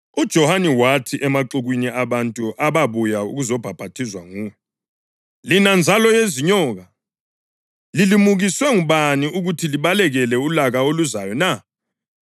UJohane wathi emaxukwini abantu ababuya ukuzobhaphathizwa nguye, “Lina nzalo yezinyoka! Lilimukiswe ngubani ukuthi libalekele ulaka oluzayo na?